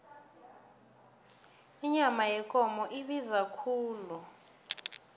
inyama yekomo ibiza khulu